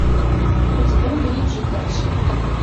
у тебя будет жить дальше